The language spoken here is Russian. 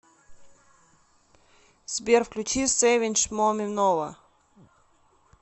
сбер включи севинч моминова